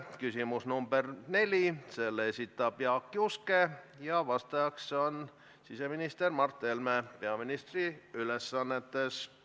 Küsimus nr 4, selle esitab Jaak Juske ja vastaja on siseminister Mart Helme peaministri ülesannetes.